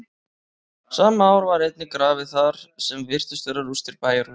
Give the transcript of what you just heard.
sama ár var einnig grafið þar sem virtust vera rústir bæjarhúsa